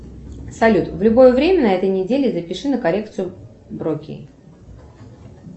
салют в любое время на этой неделе запиши на коррекцию бровей